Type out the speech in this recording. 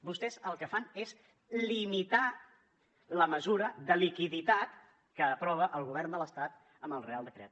vostès el que fan és limitar la mesura de liquiditat que aprova el govern de l’estat amb el reial decret